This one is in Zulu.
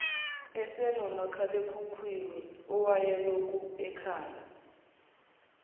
esasinomakhalekhukhwini owayelokhu ekhale